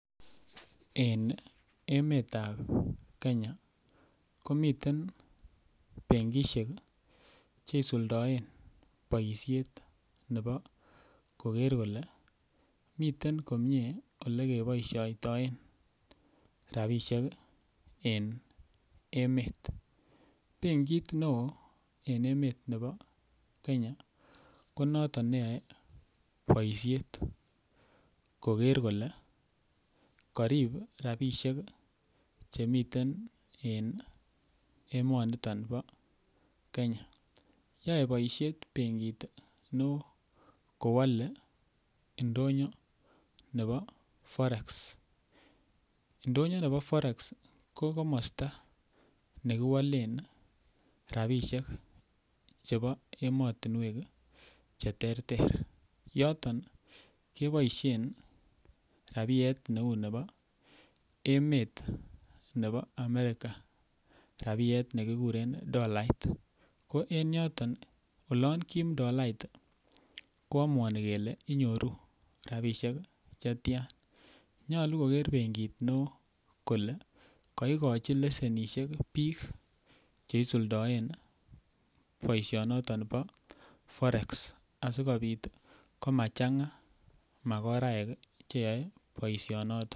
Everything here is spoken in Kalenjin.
En emetab kenya komiten benkishek cheisuldoen boishet nebo koker kole miten komyee ole keboishoitoen rapishek en emet benkit neo en emet nebo Kenya konoto neyoei boishet koker kole karip rapishek chemiten en emoniton bo Kenya yoei boishet benkit neo kowole ndoyo nebo Forex ndonyo nebo Forex ko komosta nekiwalen rapishek chebo emotinwek cheterter yoton keboishen rapiet neu nebo emet nebo American rapiet nekikuren dolait ko en yoton olon kiim dolait koamuani kele inyoru rapishek chetya nyolu koker benkit ne oo kole kaikoji leshenishiek biik cheisuldoen boishoniton bo Forex asikobit komachang'a makoraek cheyoei boishonoto